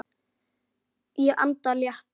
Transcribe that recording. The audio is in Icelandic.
Ég anda léttar.